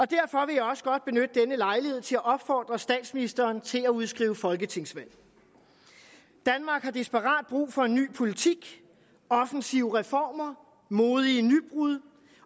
derfor vil jeg også godt benytte denne lejlighed til at opfordre statsministeren til at udskrive folketingsvalg danmark har desperat brug for en ny politik offensive reformer modige nybrud